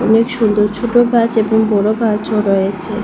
অনেক সুন্দর ছোট গাছ এবং বড় গাছও রয়েছে।